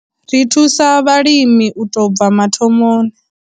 Ri thusa vhalimi u tou bva mathomoni.